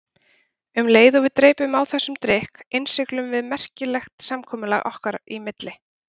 Um leið og við dreypum á þessum drykk innsiglum við merkilegt samkomulag okkar í milli.